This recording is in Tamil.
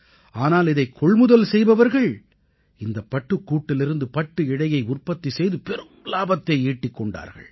ஆனால் இதைக் கொள்முதல் செய்பவர்கள் இந்தப் பட்டுக்கூட்டிலிருந்து பட்டு இழையை உற்பத்தி செய்து பெரும் இலாபத்தை ஈட்டிக் கொண்டார்கள்